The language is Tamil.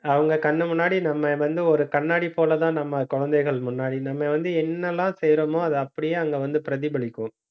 அவங்க கண்ணு முன்னாடி நம்ம வந்து ஒரு கண்ணாடி போலதான் நம்ம குழந்தைகள் முன்னாடி நம்ம வந்து என்னெல்லாம் செய்யறோமோ அதை அப்படியே அங்க வந்து பிரதிபலிக்கும்